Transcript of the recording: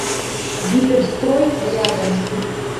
гиперстрой рядом